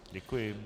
Děkuji.